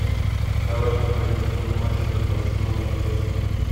давай повторим футбольный матч между арсеналом и лестером